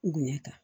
Bonya kan